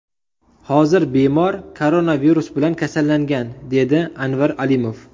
Hozir bemor koronavirus bilan kasallangan”, dedi Anvar Alimov.